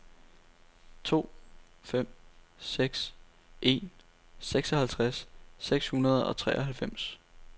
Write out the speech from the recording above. to fem seks en seksoghalvtreds seks hundrede og treoghalvfems